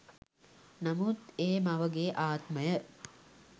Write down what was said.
නමුත් ඒ මවගේ ආත්මය